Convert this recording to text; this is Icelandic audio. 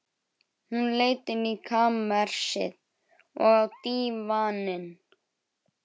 Hún leit inn í kamersið, og á dívaninn.